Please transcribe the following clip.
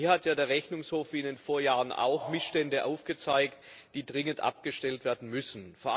Hier hat ja der Rechnungshof, wie in den Vorjahren auch, Missstände aufgezeigt, die dringend abgestellt werden müssen.